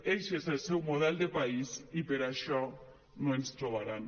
eixe és el seu model de país i per això no ens trobaran